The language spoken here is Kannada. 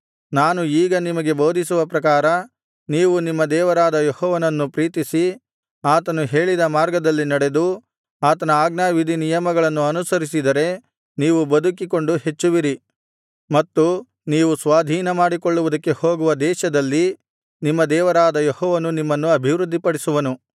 ನಾನು ಈಗ ನಿಮಗೆ ಬೋಧಿಸುವ ಪ್ರಕಾರ ನೀವು ನಿಮ್ಮ ದೇವರಾದ ಯೆಹೋವನನ್ನು ಪ್ರೀತಿಸಿ ಆತನು ಹೇಳಿದ ಮಾರ್ಗದಲ್ಲಿ ನಡೆದು ಆತನ ಆಜ್ಞಾವಿಧಿ ನಿಯಮಗಳನ್ನು ಅನುಸರಿಸಿದರೆ ನೀವು ಬದುಕಿಕೊಂಡು ಹೆಚ್ಚುವಿರಿ ಮತ್ತು ನೀವು ಸ್ವಾಧೀನಮಾಡಿಕೊಳ್ಳುವುದಕ್ಕೆ ಹೋಗುವ ದೇಶದಲ್ಲಿ ನಿಮ್ಮ ದೇವರಾದ ಯೆಹೋವನು ನಿಮ್ಮನ್ನು ಅಭಿವೃದ್ಧಿಪಡಿಸುವನು